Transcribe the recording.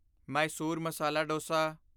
Mysore masala Dausa